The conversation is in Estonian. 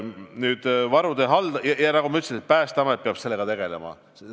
Nagu ma ütlesin, Päästeamet peab sellega tegelema.